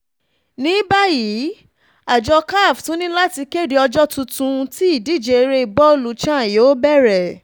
ní báyìí àjọ caf tún ní láti kéde ọjọ́ tuntun tí ìdíje eré bọ́ọ̀lù chan yóò bẹ̀rẹ̀